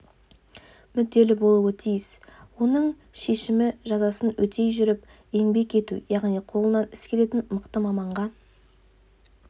мүдделі болуы тиіс оның шешіміжазасын өтей жүріп еңбек ету яғни қолынан іс келетін мықты маманға